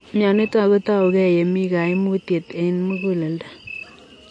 Mionitok kotau gei yemii kaimutuet ang muguleldo.